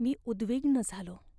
मी उद्विग्न झालो.